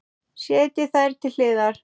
Setjið þær til hliðar.